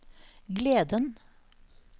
gleden